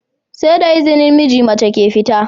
SE da izinin miji, mace ke fita